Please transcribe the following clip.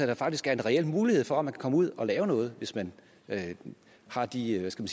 der faktisk er en reel mulighed for at man kan komme ud at lave noget hvis man har de hvad skal